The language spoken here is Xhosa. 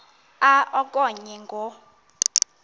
a okanye ngo